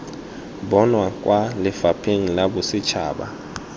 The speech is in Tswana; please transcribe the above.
bonwa kwa lefapheng la bosetšhaba